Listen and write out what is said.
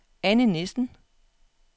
Anne Nissen